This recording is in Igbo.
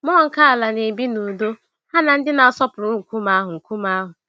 Mmụọ nke ala na-ebi n'udo ha na ndị na-asọpụrụ nkume ahụ. nkume ahụ.